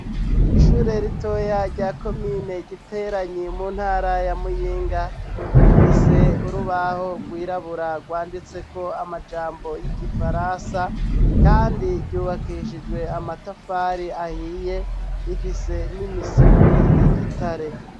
Ishure ritoya rya Komine Giteranyi mu Ntara ya Muyinga, rifise urubaho rwirabura rwanditse ko amajambo y'Igifaransa kandi ryubakishijwe amatafari ahiye, rifise n'imisipi y'igitare.